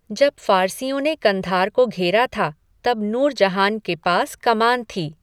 जब फ़ारसियों ने कंधार को घेरा था, तब नूरजहान के पास कमान थी।